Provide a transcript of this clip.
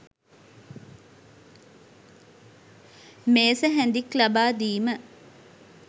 මේස හැඳික් ලබා දීම